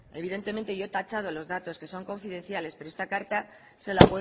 evidentemente yo he tachado los datos que son confidenciales pero esta carta se la